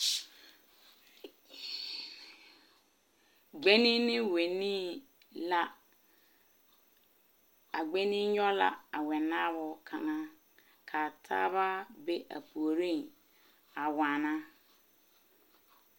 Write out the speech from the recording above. Gbenne ne wɛnee la a gbenne nyoŋ la a wɛnaao kaŋa kaa taa ba be a puori a waana.